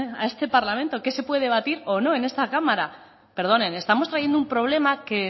a este parlamento qué se puede debatir o no en esta cámara perdonen estamos trayendo un problema que el